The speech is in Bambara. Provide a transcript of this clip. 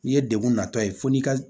N'i ye degun natɔ ye fo n'i ka